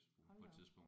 Hold da op